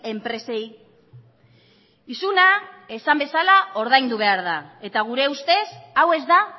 enpresei isuna esan bezala ordaindu behar da eta gure ustez hau ez da